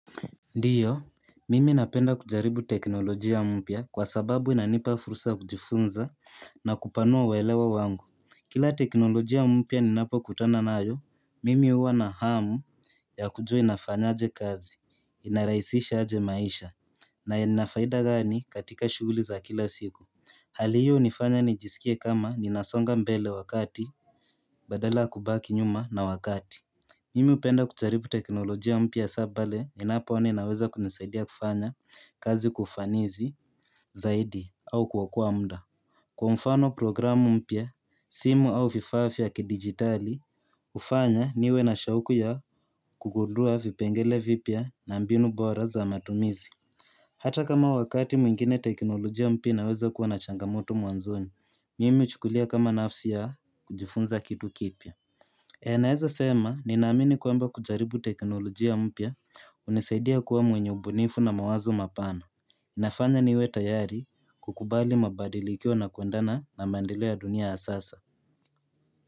Ndio, mimi napenda kujaribu teknolojia mpya kwa sababu inanipa fursa ya kujifunza na kupanua uelewa wangu. Kila teknolojia mpya ninapokutana nayo, mimi huwa na hamu ya kujua inafanya aje kazi, inarahisisha aje maisha, na ina faida gani katika shughuli za kila siku. Hali hiyo hunifanya nijisikie kama ninasonga mbele wakati badala kakubaki nyuma na wakati. Mimu hupenda kujaribu teknolojia mpya hasa pale ninapoona inaweza kunisaidia kufanya kazi kwa ufanisi zaidi au kuokoa muda. Kwa mfano programu mpya, simu au vifaa vya kidigitali, hufanya niwe na shauku ya kugundua vipengele vipya na mbinu bora za matumizi. Hata kama wakati mwingine teknolojia mpya inaweza kuwa na changamoto mwanzoni, mimi huchukulia kama nafsi ya kujifunza kitu kipya. Naeza sema ninaamini kwamba kujaribu teknolojia mpya hunisaidia kuwa mwenye ubunifu na mawazo mapana. Inafanya niwe tayari kukubali mabadilikio na kuenda na na maendeleo ya dunia ya sasa.